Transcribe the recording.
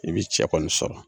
I bi cɛ kɔni sɔrɔ.